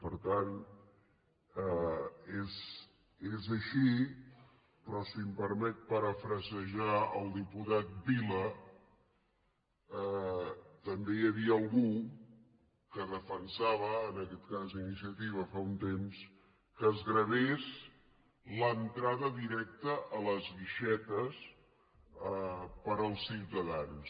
per tant és així però si em permet parafrasejar el diputat vila també hi havia algú que defensava en aquest cas iniciativa fa un temps que es gravés l’entrada directa a les guixetes per als ciutadans